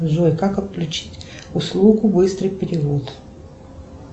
джой как отключить услугу быстрый перевод